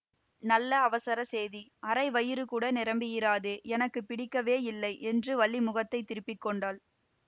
நல்ல அவசர சேதி அரை வயிறுகூட நிரம்பியிராதே எனக்கு பிடிக்கவே இல்லை என்று வள்ளி முகத்தை திருப்பி கொண்டாள்